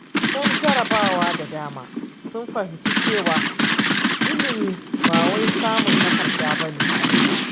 Bayan jarrabawa da dama, sun fahimci cewa ilimi ba wai samun takarda ba ne kaɗai.